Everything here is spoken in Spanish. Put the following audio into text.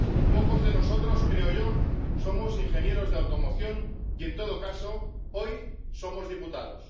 Pocos de nosotros, creo yo, somos ingenieros de automoción y, en todo caso, hoy, somos diputados.